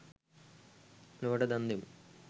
ලොවට දන් දෙමු